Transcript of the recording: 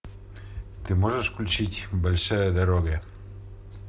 ты можешь включить большая дорога